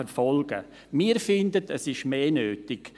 Das genügt aus unserer Sicht aber nicht.